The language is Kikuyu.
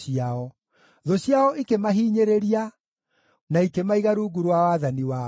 Thũ ciao ikĩmahinyĩrĩria, na ikĩmaiga rungu rwa wathani wao.